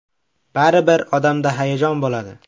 Baribir odamda hayajon bo‘ladi.